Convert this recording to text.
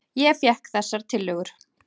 Ég fékk þessar tillögur.